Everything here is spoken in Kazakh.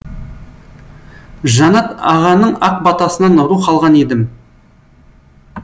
жанат ағаның ақ батасынан рух алған едім